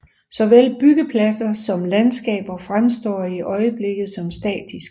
Såvel byggepladser som landskaber fremstår i øjeblikket som statiske